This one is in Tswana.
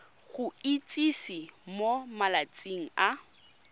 go itsise mo malatsing a